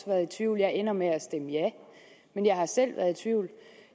været i tvivl jeg ender med at stemme ja men jeg har selv været tvivl